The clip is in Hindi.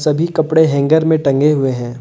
सभी कपड़े हैंगर में टंगे हुए हैं।